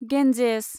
Ganges